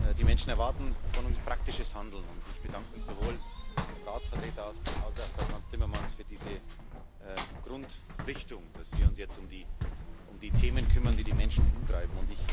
Die Menschen erwarten von uns praktisches Handeln, und ich bedanke mich sowohl beim Ratsvertreter als auch bei Frans Timmermans für diese Grundrichtung, dass wir uns jetzt um die Themen kümmern, die die Menschen umtreiben.